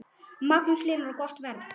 Magnús Hlynur: Og gott verð?